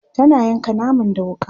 tana yanka naman da wuƙa